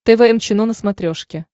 тэ вэ эм чено на смотрешке